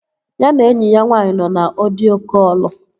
Ya na enyi ya nwaanyị nọ na ọdio kọlụ